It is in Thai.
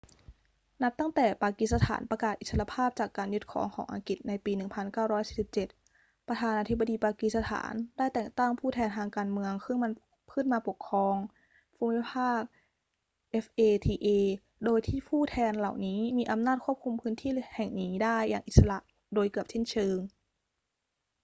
นับตั้งแต่ปากีสถานประกาศอิสรภาพจากการยึดครองของอังกฤษในปี 1947 ประธานาธิบดีปากีสถานได้แต่งตั้ง ผู้แทนทางการเมือง ขึ้นมาปกครองภูมิภาค fata โดยที่ผู้แทนเหล่านี้มีอำนาจควบคุมพื้นที่แห่งนี้ได้อย่างอิสระโดยเกือบสิ้นเชิง